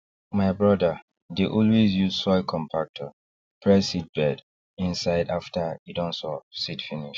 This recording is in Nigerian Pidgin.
my brother dey always use soil compactor press seedbed inside after e don sow seed finish